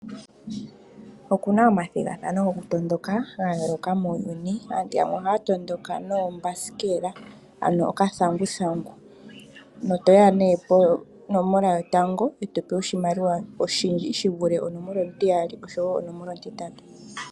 Oku na omathigathano gokutondoka ga yooloka muuyuni. Aantu yamwe ohaa tondoka noombasikela, ano okathanguthangu. Oto ya nduno ponomola yotango e to pewa oshimaliwa oshindji shi vule onomola ontiyali, osho wo onomola ontitatu.